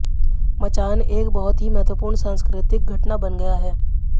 मचान एक बहुत ही महत्वपूर्ण सांस्कृतिक घटना बन गया है